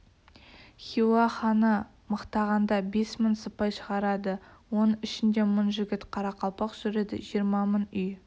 хиуа ханы мықтағанда бес мың сыпай шығарады оның ішінде мың жігіт қарақалпақ жүреді жиырма мың үй